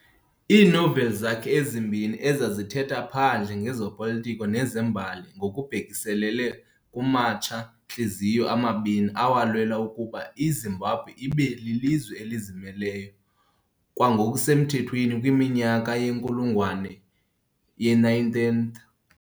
Iinoveli zakhe ezimbini ezazithetha phandle ngezopolitiko nezembali ngokubhekiselele kumatsha-ntliziyo amabini awalwela ukuba iZimbabwe ibe lilizwe elizimeleyo ngokwasemthethweni kwiminyaka yenkulungwane ye-19th.